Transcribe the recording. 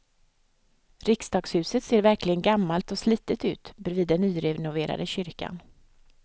Riksdagshuset ser verkligen gammalt och slitet ut bredvid den nyrenoverade kyrkan.